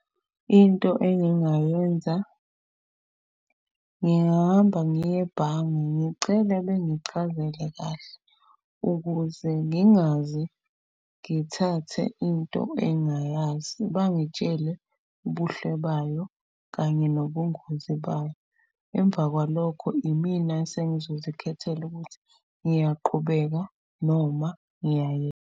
Into engingayenza ngingahamba ngiye ebhange. Ngicele bengichazele kahle ukuze ngingaze ngithathe into engayazi. Bangitshele ubuhle bayo kanye nobungozi bayo. Emva kwalokho imina esengizozikhethela ukuthi ngiyaqhubeka noma .